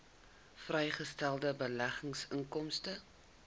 vrygestelde beleggingsinkomste